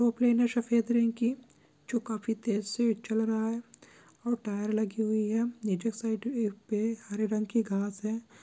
Plane है सफेद रंग की जो काफ़ी तेज से चल रहा है और टायर लगी हुई पे हरे रंग की घास है।